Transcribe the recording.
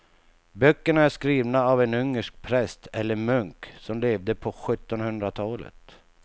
Böckerna är skrivna av en ungersk präst eller munk som levde på sjuttonhundratalet.